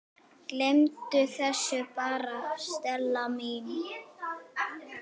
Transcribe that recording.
Gleymdu þessu bara, Stella mín.